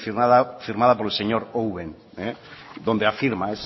firmada por el señor owen donde afirma